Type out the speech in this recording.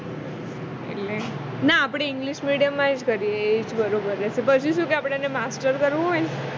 એટલે ના આપણે english medium માં જ કરીયે એ બરોબર જ છે પછી શું કે આપણા ને master કરવું હોય ને